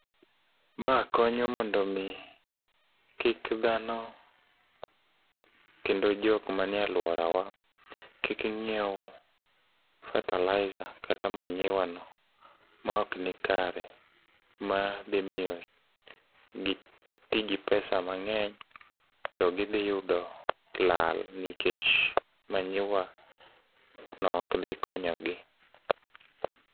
Ma konyo mondo mi kik dhano kendo jok manie aluorawa kik ng'iew fertilizer kata manyiwa no ma ok nikare ma dhi miyo gi tigi pesa mang'eny to gidhi yudo lal nikech manyiwa no ok dhi konyo gi.